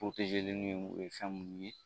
o ye fɛn mun ye